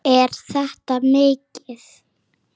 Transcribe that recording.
Er þetta mikið?